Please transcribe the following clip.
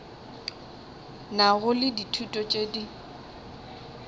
nago le ditulo tše di